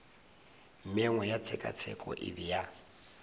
mengwe ya tshekatsheko e bea